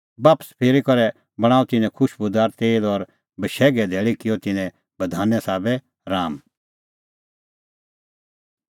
बापस फिरी करै बणांअ तिन्नैं खुशबूदार तेल और बशैघे धैल़ी किअ तिन्नैं बधाने साबै राआम